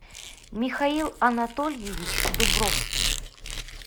михаил анатольевич дубровский